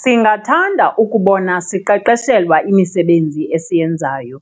Singathanda ukubona siqeqeshelwa imisebenzi esiyenzayo